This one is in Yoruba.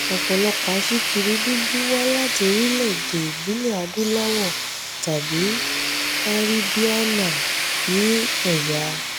ọ̀pọ̀lọpọ̀ aṣíkiri dúdú wá láti orílẹ̀-èdè ìbílẹ̀ adúláwọ̀ tàbí kàríbíáná ní ẹ̀yà.